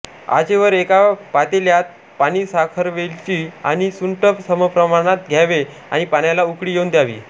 आचे वर एका पातेल्यात पाणीसाखरवेलची आणि सुंठ समप्रमाणात घ्यावे आणि पाण्याला उकळी येऊन द्यावी